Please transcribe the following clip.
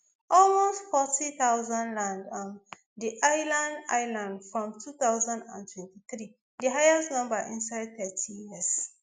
almost forty thousand land um di island island from two thousand and twenty-three di highest number inside thirty years